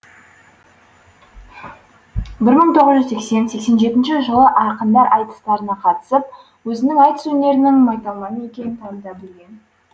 бір мың тоғыз жүз сексен сексен жетінші жылы ақындар айтыстарына қатысып өзінің айтыс өнерінің майталманы екенін таныта білген